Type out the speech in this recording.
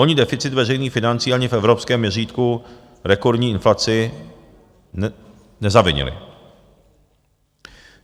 Oni deficit veřejných financí ani v evropském měřítku rekordní inflaci nezavinili.